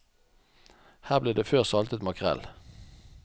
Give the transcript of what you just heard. Her ble det før saltet makrell.